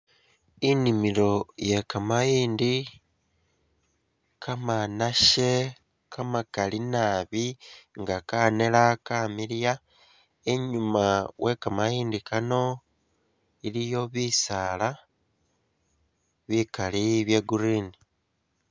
Inimilo ye kamayindi kamanashe kamakali naabi nga kaneera kamiliya, inyuuma we kamayindi kano iliyo bisaala bikaali bya green.